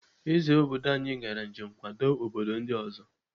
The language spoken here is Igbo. Ezé obodo anyi gara njem nkwado obodo ndị ọzọ.